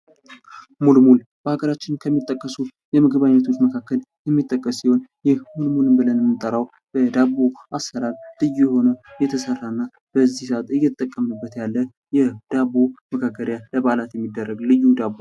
ሙልሙል በሀገራችን ከሚጠቀሱ የምግብ አይነቶች መካከል የሚጠቀስ ሲሆን ይህ ሙልሙል ብለን የምንጠራዉ በአይነቱ ልዩ የሆነ ለበዓላት የሚደረግ የዳቦ አይነት ነዉ።